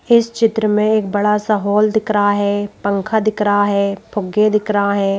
इस चित्र में एक बड़ा सा हॉल दिख रहा है पंखा दिख रहा है फूग्गे दिख रहा है।